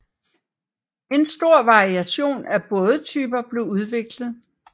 En stor variation af bådetyper blev udviklet